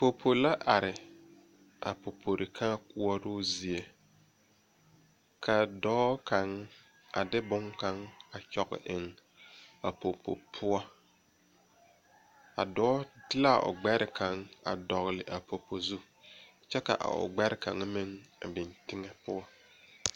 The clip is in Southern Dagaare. Popo la are a popo kaa koɔroo zie ka dɔɔ kaŋ a de bonne kaŋ a kyɔge eŋ a popo poɔ a dɔɔ de la o gbɛre kaŋ a dɔgle a popo zu kyɛ ka o gbɛre kaŋa meŋ a biŋ teŋɛ poɔ.